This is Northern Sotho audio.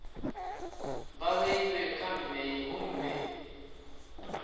ba beilwe ka mei gomme